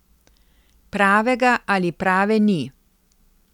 Pravega ali prave ni.